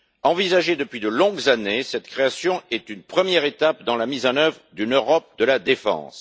Envisagée depuis de longues années, cette création est une première étape dans la mise en œuvre d'une Europe de la défense.